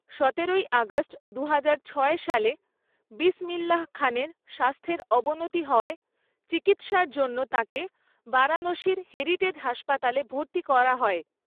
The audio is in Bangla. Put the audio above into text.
সতেরোই আগস্ট দুহাজার ছয় সালে, বিসমিল্লাহ্ খানের স্বাস্থ্যের অবনতি হওয়ায় চিকিৎসার জন্য তাঁকে বারাণসীর হেরিটেজ হাসপাতালে ভর্তি করা হয়।